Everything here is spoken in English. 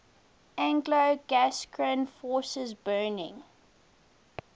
anglo gascon forces burning